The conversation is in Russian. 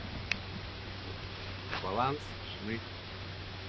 баланс жены